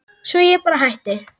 Svo að ég bara hætti.